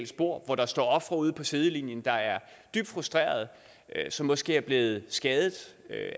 spor og hvor der står ofre ude på sidelinjen der er dybt frustrerede og som måske er blevet skadet